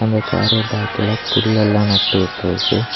இந்த கார பேக்கல புல்லெல்லா நட்டுவுட்றுக்கு.